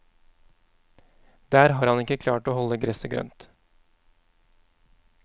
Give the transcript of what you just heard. Der har han ikke klart å holde gresset grønt.